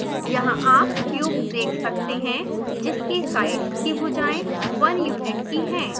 यहाँ आप क्यूब देख सकते हैं जिसकी साइड्स की भूजाएँ 1 यूनिट की हैं